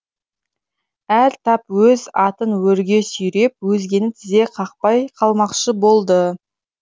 әр тап өз атын өрге сүйреп өзгені тізе қақпай қылмақшы болды